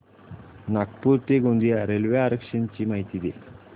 नागपूर ते गोंदिया रेल्वे आरक्षण ची माहिती दे